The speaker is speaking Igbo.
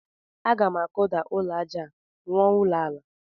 Aga m akụda ụlọ aja a rụọ ụlọ ala.